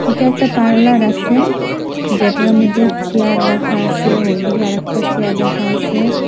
এটা একটা পার্লার আসে যেটার মধ্যে চেয়ার রাখা আসে হইদিকে আর একটা চেয়ার রাখা আসে ।